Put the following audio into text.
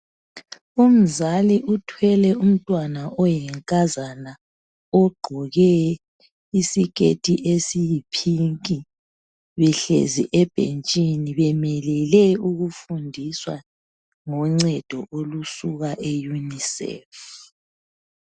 Umzali uthwele umntwana oyinkazana, ogqoke isiketi esiyiphinki, behlezi ebhentshini, bemelele ukufundiswa ngoncedo olusuka eyunisefu.